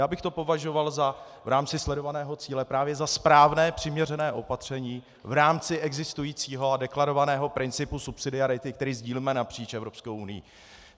Já bych to považoval v rámci sledovaného cíle právě za správné, přiměřené opatření v rámci existujícího a deklarovaného principu subsidiarity, který sdílíme napříč Evropskou unií.